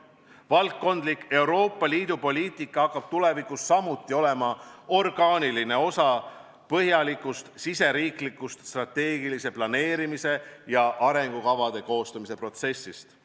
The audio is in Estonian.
Valdkondlik Euroopa Liidu poliitika hakkab tulevikus samuti olema orgaaniline osa põhjalikust riigisisese strateegilise planeerimise ja arengukavade koostamise protsessist.